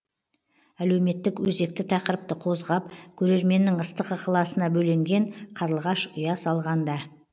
әлеуметтік өзекті тақырыпты қозғап көрерменнің ыстық ықыласына бөленген қарлығаш ұя салғанда